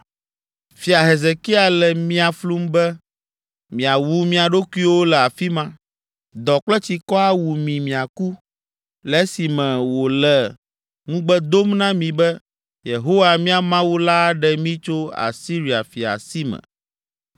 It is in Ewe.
Fia Hezekia le mia flum be, miawu mia ɖokuiwo le afi ma, dɔ kple tsikɔ awu mi miaku, le esime wòle ŋugbe dom na mi be, ‘Yehowa, mía Mawu la aɖe mí tso Asiria fia sime!’